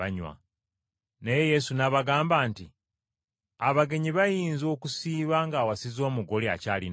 Naye Yesu n’abagamba nti, “Abagenyi bayinza okusiiba ng’awasizza omugole akyali nabo?